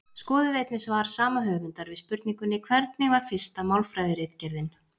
Skoðið einnig svar sama höfundar við spurningunni Hvernig var fyrsta málfræðiritgerðin?